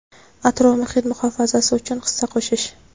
atrof-muhit muhofazasi uchun hissa qo‘shish.